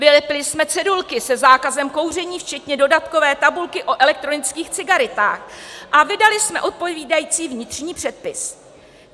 Vylepili jsme cedulky se zákazem kouření včetně dodatkové tabulky o elektronických cigaretách a vydali jsme odpovídající vnitřní předpis.